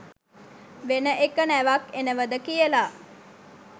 වෙන එක නැවක් එනවද කියලා